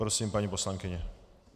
Prosím, paní poslankyně.